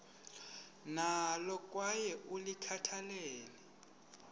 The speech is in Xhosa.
nalo kwaye ulikhathalele